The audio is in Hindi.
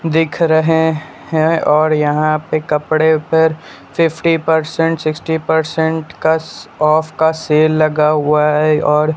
दिख रहे हैं और यहां पे कपड़े पर फिफ्टी पर्सेन्ट सिक्स्टी पर्सेन्ट काऑफ का सेल लगा हुआ है और --